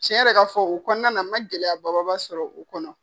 Tiɲɛ yɛrɛ ka fɔ o kɔnɔna , n ma gɛlɛya ba ba ba sɔrɔ o kɔnɔ.